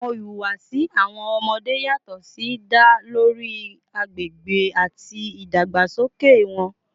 Awọn ihuwasi awọn ọmọde yatọ si da lori agbegbe ati idagbasoke wọn